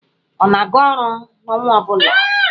Ọ na-aga orụ n'ọnwa ọ bụla?